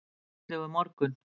Fallegur morgun!